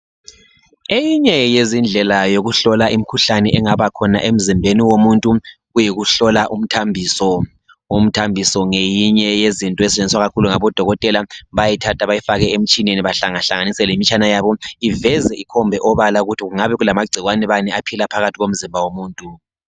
Eyinye yezindlela yokuhlola imikhuhlane engaba khona emzimbeni womuntu kuyikuhlola umthambiso. Umthambiso ngeyinye yezinto ezisetshenziswa kakhulu ngabodokotela bayayithatha bayifake emtshineni bahlangahlanganise lemitshana yabo iveze ikhombe obala ukuthi kungabe kulamagcikwane bani aphila phakathi komzimba womuntu.